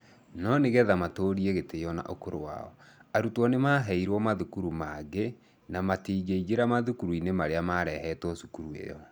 No nĩ getha matũũrie gĩtĩo na ũkũrũ wao, arutwo nĩ maaheirũo mathukuru mangĩ na matingĩingĩingĩra mathukuru-inĩ marĩa marehetwo cukuru ĩyo.